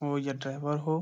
हो या ड्राइवर हो।